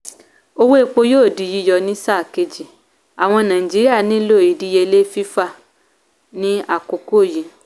owó epo yóò dì yíyọ ní sáà kejì àwọn naijiria nílò ìdíyelé fífà ní àkókò yí.